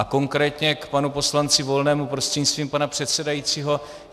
A konkrétně k panu poslanci Volnému prostřednictvím pana předsedajícího.